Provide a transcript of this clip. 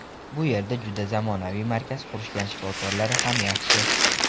Bu yerda juda zamonaviy markaz qurishgan, shifokorlari ham yaxshi.